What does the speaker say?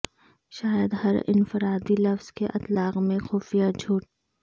شاید ہر انفرادی لفظ کے اطلاق میں خفیہ جھوٹ